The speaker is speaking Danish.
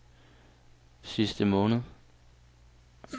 sidste måned